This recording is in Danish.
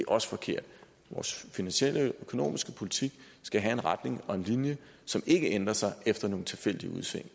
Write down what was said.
også forkert vores finansielle og økonomiske politik skal have en retning og en linje som ikke ændrer sig efter nogle tilfældige udsving